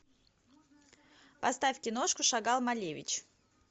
поставь киношку шагал малевич